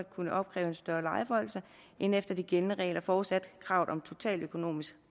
kunne opkræve en større lejeforhøjelse end efter de gældende regler forudsat at kravet om totaløkonomisk